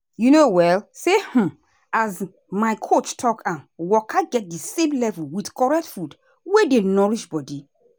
you know um say um as my coach talk am waka get the same level with correct food wey dey nourish body.